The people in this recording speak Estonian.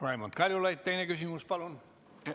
Raimond Kaljulaid, teine küsimus, palun!